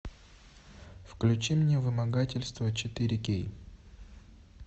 включи мне вымогательство четыре кей